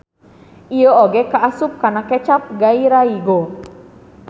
Ieu oge kaasup kana kecap gairaigo.